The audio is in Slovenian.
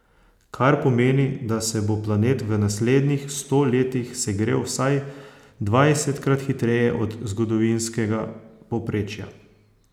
Kar pomeni, da se bo planet v naslednjih sto letih segrel vsaj dvajsetkrat hitreje od zgodovinskega povprečja.